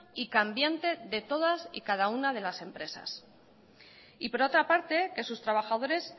y cambiante de todas y cada una de las empresas y por otra parte que sus trabajadores